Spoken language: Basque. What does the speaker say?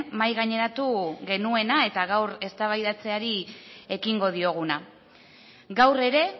mahai gaineratu genuena eta gaur eztabaidatzeari ekingo dioguna gaur ere